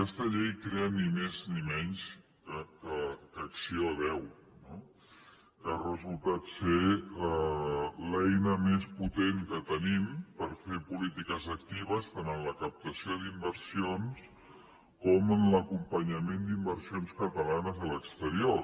aquesta llei crea ni més ni menys que acc1ó no que ha resultat ser l’eina més potent que tenim per fer polítiques actives tant en la captació d’inversions com en l’acompanyament d’inversions catalanes a l’exterior